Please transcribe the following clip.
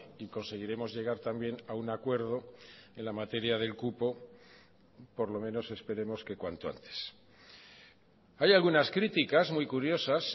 y conseguiremos llegar también a un acuerdo en la materia del cupo por lo menos esperemos que cuanto antes hay algunas críticas muy curiosas